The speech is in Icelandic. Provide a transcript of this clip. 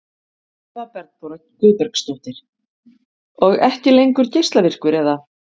Eva Bergþóra Guðbergsdóttir: Og ekki lengur geislavirkur eða?